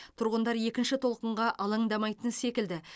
тұрғындар екінші толқынға алаңдамайтын секілді